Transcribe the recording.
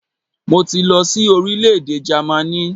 Mo ti lọ sí orílẹ̀-èdè Jẹ́mánì